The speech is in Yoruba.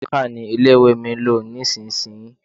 Maka ni ilé-ìwé mi ń lò nísinsìnyí.